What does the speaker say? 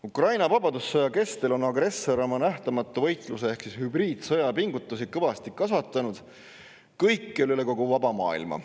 Ukraina vabadussõja kestel on agressor oma nähtamatu võitluse ehk hübriidsõja pingutusi kõikjal üle kogu vaba maailma kõvasti kasvatanud.